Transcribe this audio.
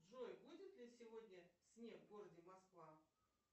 джой будет ли сегодня снег в городе москва